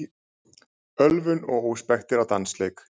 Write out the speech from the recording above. Ölvun og óspektir á dansleik